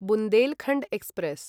Bundelkhand express